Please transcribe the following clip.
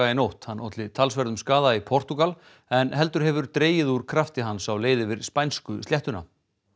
í nótt hann olli talsverðum skaða í Portúgal en heldur hefur dregið úr krafti hans á leið yfir spænsku sléttuna